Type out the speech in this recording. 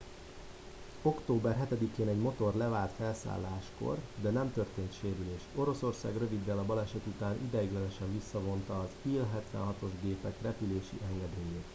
október 7-én egy motor levált felszálláskor de nem történt sérülés. oroszország röviddel a baleset után ideiglenesen visszavonta a il-76-os gépek repülési engedélyét